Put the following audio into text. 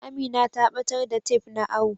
Amina ta batar da tef na awo.